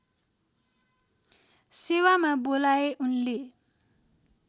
सेवामा बोलाए उनले